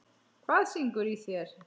Hvað syngur í þér?